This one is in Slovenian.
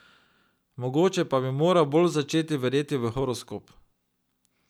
Mogoče pa bi moral bolj začeti verjeti v horoskop ...